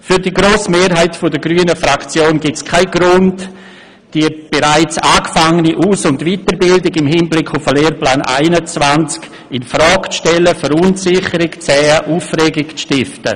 Für die grosse Mehrheit der grünen Fraktion gibt es keinen Grund, die bereits angefangene Aus- und Weiterbildung im Hinblick auf den Lehrplan 21 infrage zu stellen, Verunsicherung zu säen und Aufregung zu stiften.